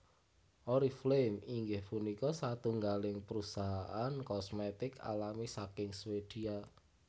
Oriflame inggih punika satunggaling prusahaan kosmetik alami saking Swedia